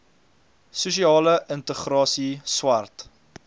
sosiale integrasie swart